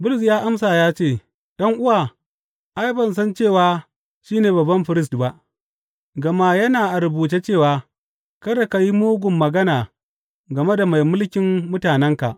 Bulus ya amsa ya ce, ’Yan’uwa, ai, ban san cewa shi ne babban firist ba; gama yana a rubuce cewa, Kada ka yi mugun magana game da mai mulkin mutanenka.’